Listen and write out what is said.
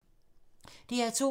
DR2